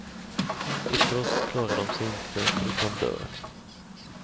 I frost klarar de sig inte, utan dör.